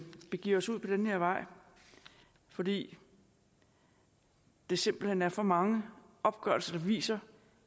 begiver os ud på den her vej fordi der simpelt hen er for mange opgørelser der viser